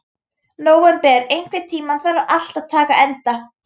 Nóvember, einhvern tímann þarf allt að taka enda.